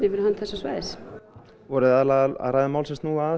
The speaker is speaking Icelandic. fyrir hönd svæðisins voru þið aðallega að ræða mál sem snúa að